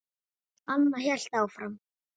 Anna hélt áfram.